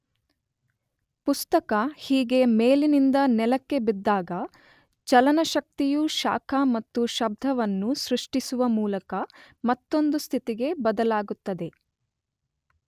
ಪುಸ್ತಕ ಹೀಗೆ ಮೇಲಿನಿಂದ ನೆಲಕ್ಕೆ ಬಿದ್ದಾಗ ಚಲನ ಶಕ್ತಿಯು ಶಾಖ ಮತ್ತು ಶಬ್ಧವನ್ನು ಸೃಷ್ಟಿಸುವ ಮೂಲಕ ಮತ್ತೊಂದು ಸ್ಥಿತಿಗೆ ಬದಲಾಗುತ್ತದೆ.